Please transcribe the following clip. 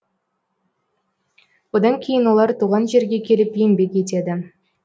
одан кейін олар туған жерге келіп еңбек етеді